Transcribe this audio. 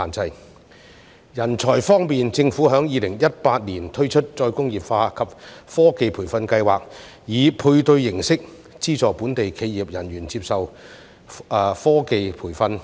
至於人才方面，政府在2018年推出再工業化及科技培訓計劃，以配對形式資助本地企業人員接受科技培訓。